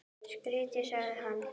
Skítt, sagði hann.